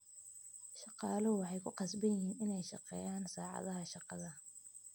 Shaqaaluhu waxay ku qasban yihiin inay shaqeeyaan saacadaha shaqada.